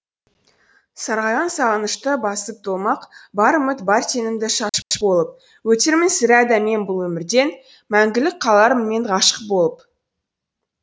сарғайған сағынышты басып тумақ бар үміт бар сенімді шашып болып өтермін сірә да мен бұл өмірден мәңгілік қалармын мен ғашық болып